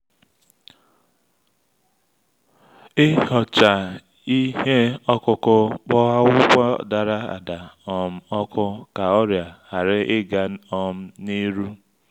ihocha ihe okuku kpo akwụkwọ dara-ada um oku ka ọrịa hari-ịga um ni iru